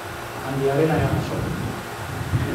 Waxaan diyaarinayaa casho